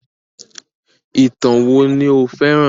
Ìtàn wo ni o féràn?